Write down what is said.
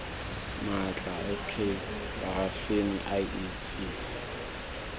maatla s k parafini iec